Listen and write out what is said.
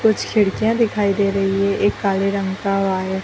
कुछ खिड़कियां दिखाई दे रही है एक काले रंग का वायर --